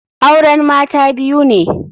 Auren Mata biyu ne.